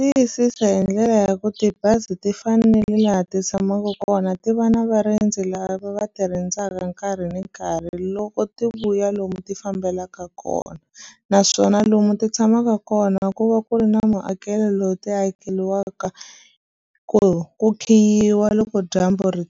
Tiyisisa hi ndlela ya ku tibazi ti fanele laha ti tshamaka kona ti va na varindzi lava va ti rindzaka nkarhi ni nkarhi loko ti vuya lomu ti fambelaka kona naswona lomu ti tshamaka kona ku va ku ri na muakelo lowu ti akeriwaka koho ku khayiwa loko dyambu ri